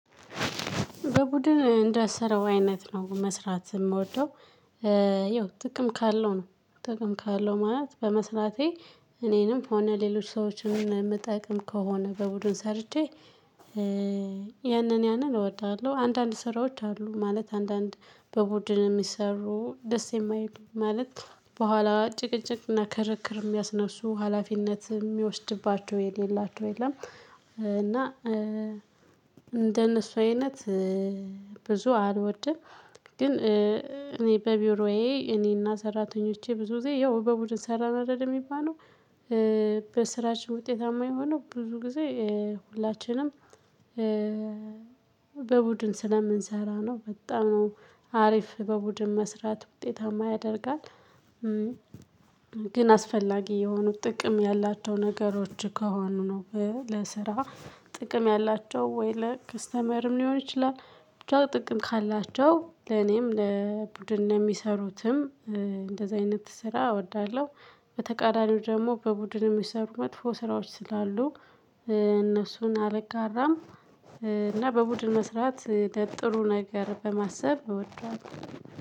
በቡድን እንደሰረው አይነት ነው መስራት የምወደው። ይኸው ጥቅም ካለው ነው ጥቅም ካለው ማለት በመስራቴ። እኔንም ሆነ ሌሎች ሰዎችን የምጠቅም ከሆነ በቡድን ሰርቼ ያንን ያንን እወዳለሁ። አንዳንድ ስራዎች አሉ ማለት አንዳንድ በቡድን የሚሰሩ ደስ የማይሉ ማለት በኋላ ጭቅጭቅና ከረክር የሚያስነሱ ሀላፊነት የሚወስድባቸው የሌላቸው የለም። እና እንደነሱ አይነት ብዙ አልወድም። ግን እኔ በቢሮዬ እኔና ሰራተኞቼ ብዙ ጊዜ ያው በቡድን ሰራን አደል የሚባለው። በስራችን ውጤታማ የሆነው ብዙ ጊዜ ሁላችንም በቡድን ስለምንሰራ ነው። በጣም ነው አሪፍ በቡድን መስራት ውጤታማ ያደርጋል። ግን አስፈላጊ የሆኑት ጥቅም ያላቸው ነገሮች ከሆኑ ነው ለስራ ጥቅም ያላቸው ወይ ለከስተመርም ሊሆን ይችላል ብቻ ጥቅም ካላቸው ለኔም ለቡድን ነው የሚሰሩትም። እንደዚህ አይነት ስራ እወዳለሁ። በተቃራኒው ደግሞ በቡድን የሚሰሩ መጥፎ ስራዎች ስላሉ እነሱን አልጋራም። እና በቡድን መስራት ጥሩ ነገር በማሰብ እወደዋለሁ።